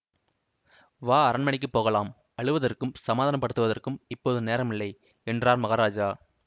வா அரண் மனைக்குப் போகலாம் அழுவதற்கும் சமாதானப்படுத்துவதற்கும் இப்போது நேரமில்லை என்றார் மகாராஜா